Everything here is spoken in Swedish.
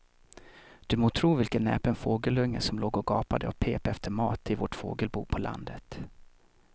Du må tro vilken näpen fågelunge som låg och gapade och pep efter mat i vårt fågelbo på landet.